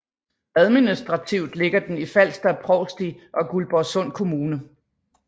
Administrativt ligger den i Falster Provsti og Guldborgsund Kommune